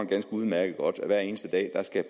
ganske udmærket godt at politiet hver eneste dag skal